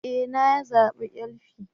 E! Na zabi LP